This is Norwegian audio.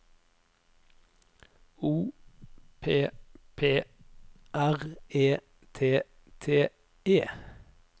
O P P R E T T E